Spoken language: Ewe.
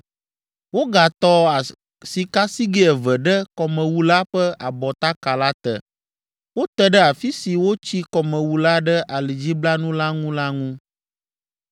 Wogatɔ sikasigɛ eve ɖe Kɔmewu la ƒe abɔtaka la te, wote ɖe afi si wotsi kɔmewu la ɖe alidziblanu la ŋu la ŋu.